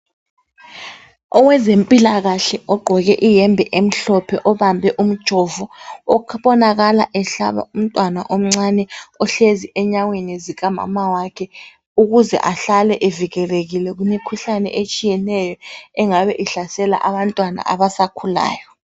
Owezempilakahle ogqoke iyembe emhlophe obambe umjovo obonakala ehlaba umtwana omncane ohlezi enyaweni zika mamawakhe ukuze ahlale evikelekile kumikhuhlane etshiyeneyo engabe ihlasela abantwana abasakhulayo